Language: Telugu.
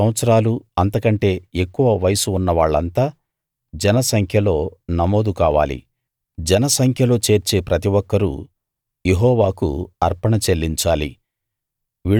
ఇరవై సంవత్సరాలు అంతకంటే ఎక్కువ వయస్సు ఉన్నవాళ్ళంతా జన సంఖ్యలో నమోదు కావాలి జన సంఖ్యలో చేర్చే ప్రతి ఒక్కరూ యెహోవాకు అర్పణ చెల్లించాలి